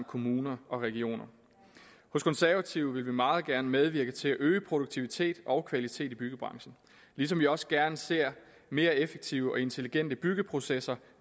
kommuner og regioner hos konservative vil vi meget gerne medvirke til at øge produktivitet og kvalitet i byggebranchen ligesom vi også gerne ser mere effektive og intelligente byggeprocesser